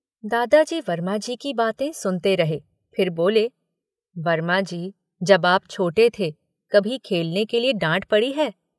दादाजी वर्माजी की बातें सुनते रहे फिर बोले, वर्माजी, जब आप छोटे थे, कभी खेलने के लिए डाँट पड़ी है।